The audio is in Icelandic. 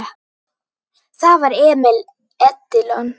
Það var Emil Edilon.